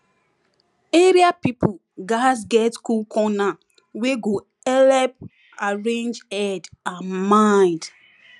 area people gatz get cool corner wey go helep arrange head and mind